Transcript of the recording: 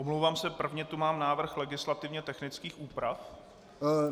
Omlouvám se, prvně tu mám návrh legislativně technických úprav.